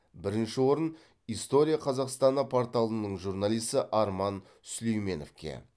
бірінші орын история казахстана порталының журналисі арман сүлейменовке